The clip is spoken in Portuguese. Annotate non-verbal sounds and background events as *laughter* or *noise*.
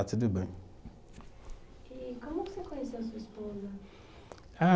*unintelligible* E como você conheceu sua esposa? Ah